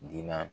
Diina